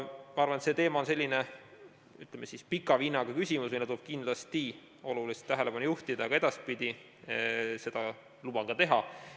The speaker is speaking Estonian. Ma arvan, et see teema on selline pika vinnaga, millele tuleb kindlasti tähelepanu juhtida ka edaspidi, seda luban ka teha.